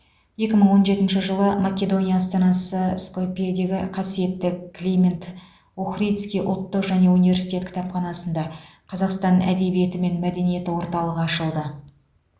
екі мың он жетінші жылы македония астанасы скопьедегі қасиетті климент охридский ұлттық және университет кітапханасында қазақстан әдебиеті мен мәдениеті орталығы ашылды